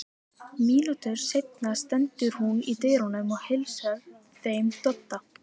Mínútu seinna stendur hún í dyrunum og heilsar þeim Dodda.